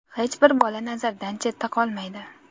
Hech bir bola nazardan chetda qolmaydi.